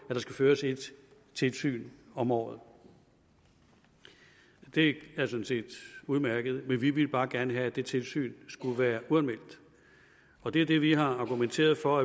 der skal føres ét tilsyn om året det er sådan set udmærket men vi ville bare gerne have at det tilsyn skulle være uanmeldt og det er det vi har argumenteret for